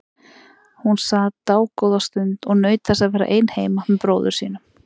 Hún sat dágóða stund og naut þess að vera ein heima með bróður sínum.